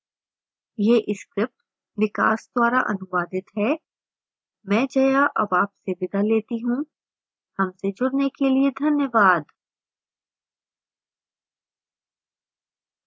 यह script विकास द्वारा अनुवादित है मैं जया अब आपसे विदा लेती हूँ